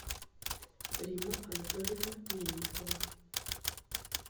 римма анатольевна мельникова